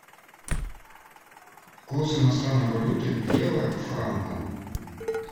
курс иностранной валюты евро к франку